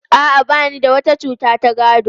A'a, ba ni da wata cuta ta gado.